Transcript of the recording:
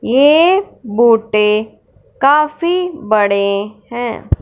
ये बोटें काफी बड़े हैं।